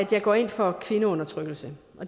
der går ind for kvindeundertrykkelse